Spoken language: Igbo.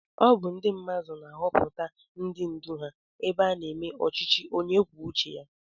Ọ bụ ndị mmadụ na-ahọpụta ndị ndú ha ebe a na-eme ọchịchị onye kwuo uche ya